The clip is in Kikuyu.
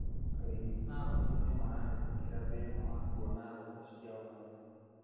Arĩmi a waru nĩmarahetũkĩra thina wa kuona thoko cia waru.